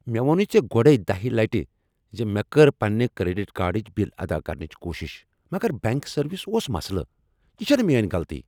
مےٚ ووٚنُے ژے گۄڈٕے دہہِ لٕٹہِ زِ مےٚ کٔر پننہِ کریڈٹ کارڈٕچ بِل ادا کرنٕچ کوشِش مگر بینک سرورس اوس مسلہٕ۔ یہ چھنہٕ میٲنۍ غلطی!